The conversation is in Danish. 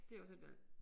Det også et valg